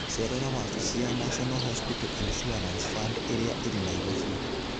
Cerera wabici ya National Hospital Insurance Fund ĩrĩa ĩrĩ Nairobi.